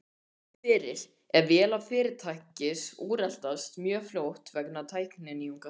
komið fyrir ef vélar fyrirtækis úreltast mjög fljótt vegna tækninýjunga.